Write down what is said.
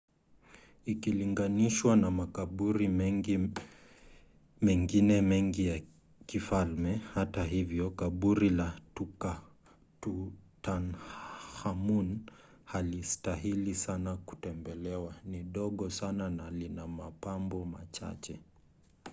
ikilinganishwa na makaburi mengine mengi ya kifalme hata hivyo kaburi la tutankhamun halistahili sana kutembelewa ni dogo sana na lina mapambo machache